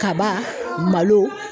Kaba, malo